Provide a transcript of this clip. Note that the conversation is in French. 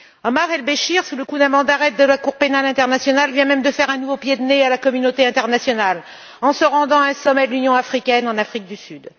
Omar El Béchir, sous le coup d'un mandat d'arrêt de la Cour pénale internationale, vient même de faire un nouveau pied de nez à la communauté internationale en se rendant à un sommet de l'Union africaine en Afrique du Sud.